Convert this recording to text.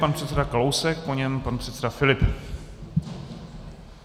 Pan předseda Kalousek, po něm pan předseda Filip.